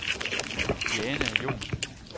Diana Johnsen